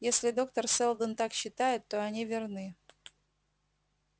если доктор сэлдон так считает то они верны